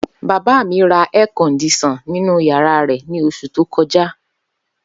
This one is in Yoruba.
Baba mi ra air-condition ninu yara re ni osu to koja.